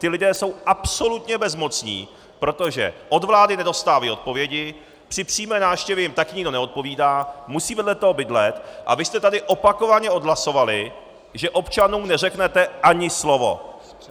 Ti lidé jsou absolutně bezmocní, protože od vlády nedostávají odpovědi, při přímé návštěvě jim taky nikdo neodpovídá, musí vedle toho bydlet, a vy jste tady opakovaně odhlasovali, že občanům neřeknete ani slovo!